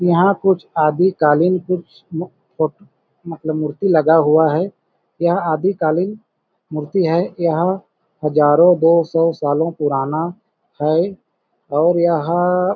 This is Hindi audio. यहाँ कुछ आदिकालीन कुछ मु कु फट मतलब मूर्ति लगा हुआ है यह आदिकालिन मूर्ति है यह हजारों दो सौ सालों पुराना है और यह--